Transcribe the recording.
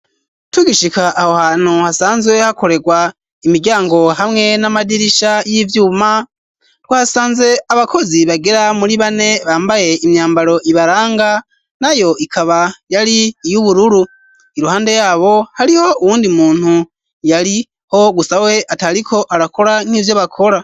Tugishika aho hantu hasanzwe hakorerwa imiryango hamwe n'amadirisha y'ivyuma, twahasanze abakozi bagera muri bane bambaye imyambaro ibaranga, nayo ikaba yari iy'ubururu. Iruhande yabo hariho uwundi muntu yariho gusa we atariko arakora nk'ivyo bakora.